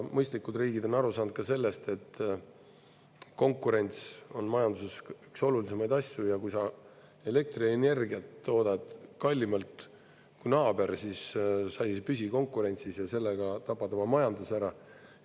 Mõistlikud riigid on aru saanud ka sellest, et konkurents on majanduses üks olulisemaid asju ja kui sa elektrienergiat toodad kallimalt kui naaber, siis sa ei püsi konkurentsis ja sellega tapad oma majanduse ära.